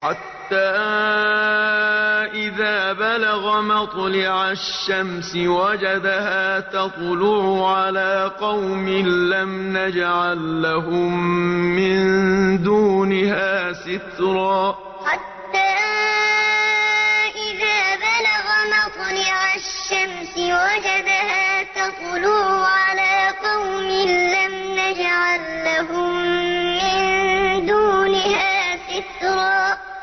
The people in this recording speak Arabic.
حَتَّىٰ إِذَا بَلَغَ مَطْلِعَ الشَّمْسِ وَجَدَهَا تَطْلُعُ عَلَىٰ قَوْمٍ لَّمْ نَجْعَل لَّهُم مِّن دُونِهَا سِتْرًا حَتَّىٰ إِذَا بَلَغَ مَطْلِعَ الشَّمْسِ وَجَدَهَا تَطْلُعُ عَلَىٰ قَوْمٍ لَّمْ نَجْعَل لَّهُم مِّن دُونِهَا سِتْرًا